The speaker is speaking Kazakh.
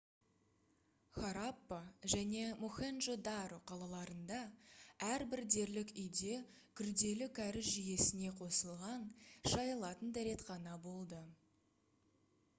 хараппа және мохенджо-даро қалаларында әрбір дерлік үйде күрделі кәріз жүйесіне қосылған шайылатын дәретхана болды